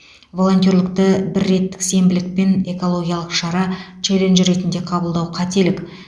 волонтерлікті бірреттік сенбілік пен экологиялық шара челлендж ретінде қабылдау қателік